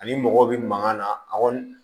Ani mɔgɔw bɛ mankan na a kɔni